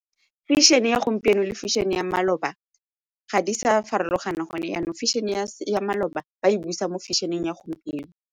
Fashion-e ya gompieno le fashion-e ya maloba ga di sa farologana gone ya ya maloba ba e busa mo fashion-eng ya gompieno.